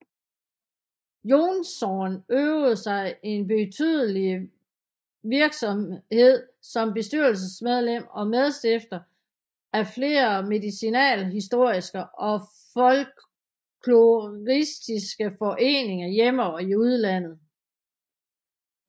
Jonsson øvede en betydelig virksomhed som bestyrelsesmedlem og medstifter af flere medicinalhistoriske og folkloristiske foreninger hjemme og i udlandet